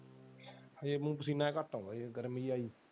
ਫੇਰ ਮੈਨੂੰ ਪਸੀਨਾ ਜੇਹਾ ਘੱਟ ਆਉਂਦਾ ਗਰਮੀ ਚ।